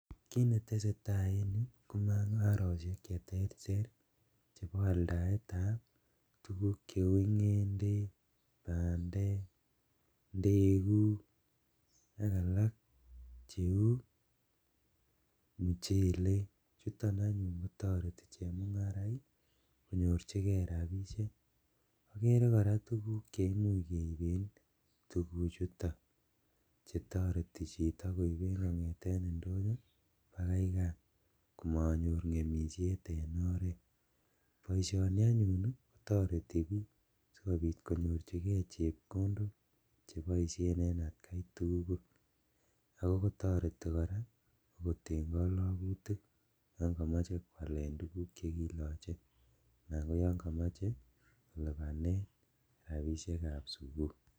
Kiit netesetaa en yuu komung'aroshek cheterter cheboo aldaetab tukuk cheuu ng'endek, bandek, ndekuk, ak alaak cheuu muchelek, chuton anyuun kotoretii chemung'araik konyorchikee rabishek, okeree kora tukuk cheimuch keibeen tukuchuton chetoreti chito koiben kong'eten ndonyo bakai kaa komonyor ng'emishet en oreet, boishoni anyun i kotoreti biik sikobiit konyorchikee chepkondok cheboishen en atkai tukul, akotoretii korak okot en kalokutik yon komoche kwaleen tukuuk chekiloche anan koyon komoche kolibanen rabishekab sukul.